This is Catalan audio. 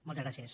moltes gràcies